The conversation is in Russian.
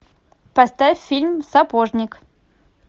поставь фильм сапожник